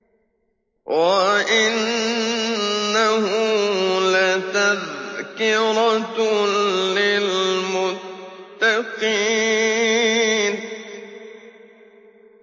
وَإِنَّهُ لَتَذْكِرَةٌ لِّلْمُتَّقِينَ